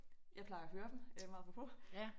Jeg plejer at høre dem meget apropos